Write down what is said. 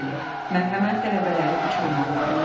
Bəli, mərhəmət tələbələri uçuruma aparır.